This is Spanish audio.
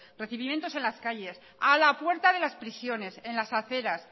recibimientos en las calles a la puerta de las prisiones en las aceras